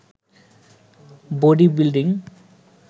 body building